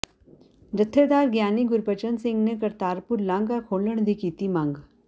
ਜਥੇਦਾਰ ਗਿਆਨੀ ਗੁਰਬਚਨ ਸਿੰਘ ਨੇ ਕਰਤਾਰਪੁਰ ਲਾਂਘਾ ਖੋਲ੍ਹਣ ਦੀ ਕੀਤੀ ਮੰਗ